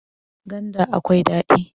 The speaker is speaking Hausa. ganda akwai dadi